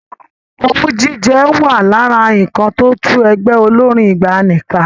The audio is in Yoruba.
Owú jíjẹ wà lára nǹkan tó tú ẹgbẹ́ olórín ìgbàanì ká.